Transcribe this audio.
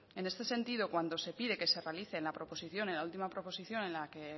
en este sentido cuando se pide que se realice en la proposición en la última proposición en la que